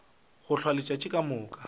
go hlwa letšatši ka moka